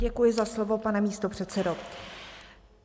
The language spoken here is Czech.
Děkuji za slovo, pane místopředsedo.